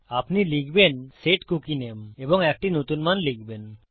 আপনি লিখবেন set cookie নামে এবং একটি নতুন মান লিখবেন